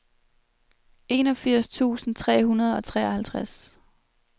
enogfirs tusind tre hundrede og treoghalvtreds